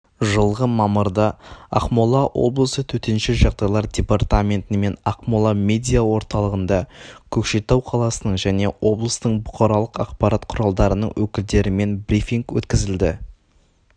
жылғы мамырда ақмола облысы төтенше жағдайлар департаментімен ақмола медиа орталығында көкшетау қаласының және облыстың бұқаралық ақпарат құралдарының өкілдерімен брифинг өткізілді